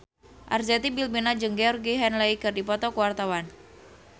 Arzetti Bilbina jeung Georgie Henley keur dipoto ku wartawan